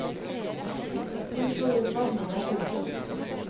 Hun slo ut med armene. punktum